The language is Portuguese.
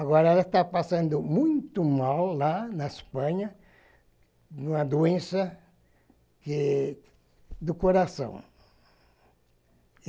Agora ela tá passando muito mal lá na Espanha, uma doença que do coração.